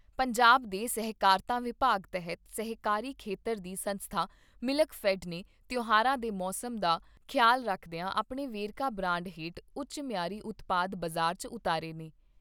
ਪੰਜਾਬ ਦੇ ਸਹਿਕਾਰਤਾ ਵਿਭਾਗ ਤਹਿਤ ਸਹਿਕਾਰੀ ਖੇਤਰ ਦੀ ਸੰਸਥਾ ਮਿਲਕਫੈਡ ਨੇ ਤਿਉਹਾਰਾਂ ਦੇ ਮੌਸਮ ਦਾ ਖਿਆਲ ਕਰਦਿਆਂ ਆਪਣੇ ਵੇਰਕਾ ਬਰਾਂਡ ਹੇਠ ਉਚ ਮਿਆਰੀ ਉਤਪਾਦ ਬਾਜ਼ਾਰ 'ਚ ਉਤਾਰੇ ਨੇ।